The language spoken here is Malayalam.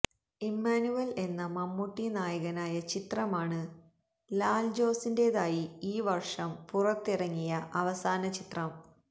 ഇമ്മാനുവല് എന്ന മമ്മൂട്ടി നായകനായ ചിത്രമാണ് ലാല ജോസിന്റേതായി ഈ വര്ഷം പുറത്തിറങ്ങിയ അവസാന ചിത്രം